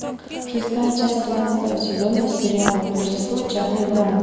шестая часть тринадцатого сезона сериала рождество чарли брауна